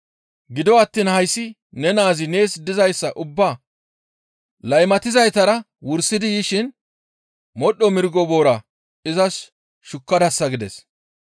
Gido attiin hayssi ne naazi nees dizayssa ubbaa laymatizaytara wursidi yishin modhdho mirgo boora izas shukkadasa› gides.